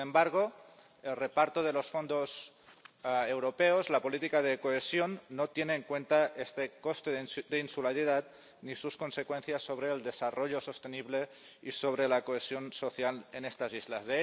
Sin embargo, el reparto de los fondos europeos, la política de cohesión, no tiene en cuenta este coste de insularidad ni sus consecuencias sobre el desarrollo sostenible y sobre la cohesión social en estas islas.